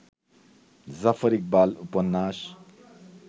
জাফর ইকবাল উপন্যাস